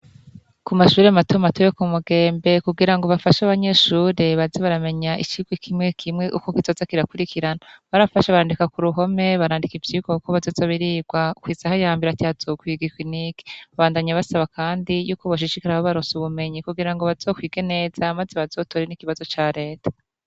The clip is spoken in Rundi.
Ku mashure matomato yo Ku mugembe kugirango bafashe abanyeshure baze baramenya icirwa kimwe kimwe uko kizoza kirakurikirana barafashe bandika Ku ruhome barandika ivyirwa uko bizoza birirwa kw'isaha ya mbere ati hazokwirwa iki n'iki babandanya basaba kandi yuko boshishikara babaronsa ubumenyi kugirango bazokwige neza maze bazotore n'ikibazo ca reta.